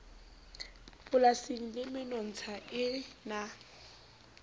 polasing le menontsha e na